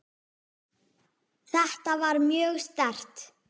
Þetta var mjög sterkt.